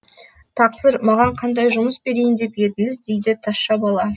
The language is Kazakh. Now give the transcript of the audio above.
тақсыр маған қандай жұмыс берейін деп едіңіз дейді тазша бала